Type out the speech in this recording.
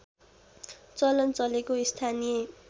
चलन चलेको स्थानीय